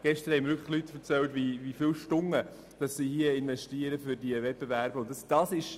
Gestern haben mir betroffene Personen erzählt, wie viele Stunden sie für diese Wettbewerbe investieren.